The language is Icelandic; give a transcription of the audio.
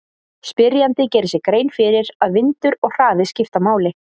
Spyrjandi gerir sér grein fyrir að vindur og hraði skipta máli.